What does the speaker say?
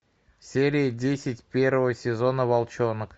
серия десять первого сезона волчонок